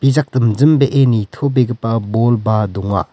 bijak dimjimbee nitobegipa bolba donga.